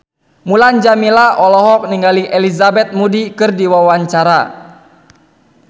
Mulan Jameela olohok ningali Elizabeth Moody keur diwawancara